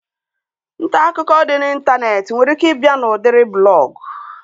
Ntaakụkọ dị n'Ịntanetị nwere ike ị bịa n'udiri blọgụ